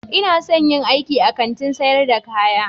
Ina son in yi aiki a Kantin sayar da kaya